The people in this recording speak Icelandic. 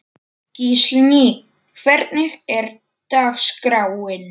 Gíslný, hvernig er dagskráin?